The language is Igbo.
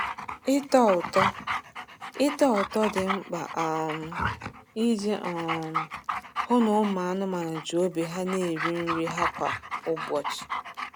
Ịtọ ụtọ Ịtọ ụtọ dị mkpa um iji um hụ na ụmụ anụmanụ ji obi ha na-eri nri ha kwa ụbọchị.